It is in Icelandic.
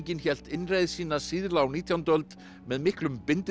hélt innreið sína síðla á nítjándu öld með miklum